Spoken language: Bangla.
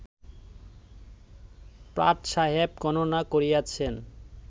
প্রাট সাহেব গণনা করিয়াছেন